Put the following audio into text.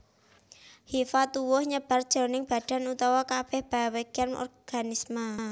Hifa tuwuh nyebar jroning badan utawa kabèh bagéyan organisme